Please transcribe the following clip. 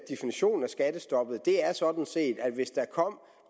skattestoppet er sådan set at hvis der kom